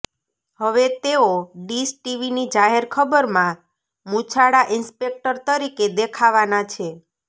હવે તેઓ ડિશ ટીવીની જાહેરખબરમાં મૂછાળા ઇંસ્પેક્ટર તરીકે દેખાવાનાં છે